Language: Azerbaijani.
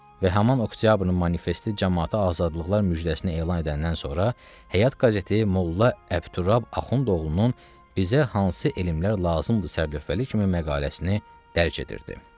Və həman oktyabrın manifesti camaata azadlıqlar müjdəsini elan edəndən sonra Həyat qəzeti molla Əbdütrab Axundoğlunun bizə hansı elmlər lazımdır sərlövhəli kimi məqaləsini dərc edirdi.